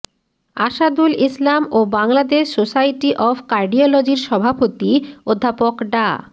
আসাদুুল ইসলাম ও Bangladesh society of কার্ডিওলজির সভাপতি অধ্যাপক ডা